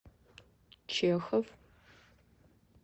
чехов